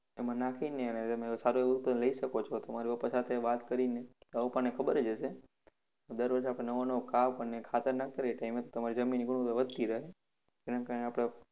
એમા નાખીને તમે સારું એવું તો લઇ શકો છો. તમારા પપ્પા સાથે વાત કરીને. તમારા પપ્પાને ખબર જ હશે. દરરોજ આપણે નવો નવો કાપ અને ખાતર નાખત રહીએ તો એમાંથી તમારી જમીનની ગુણવત્તા વધતી રહે.